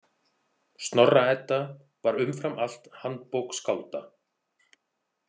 Snorra- Edda var umfram allt handbók skálda.